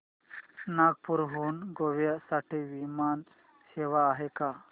नागपूर हून गोव्या साठी विमान सेवा आहे का